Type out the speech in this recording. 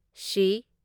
ꯁꯤ